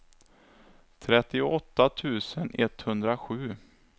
trettioåtta tusen etthundrasju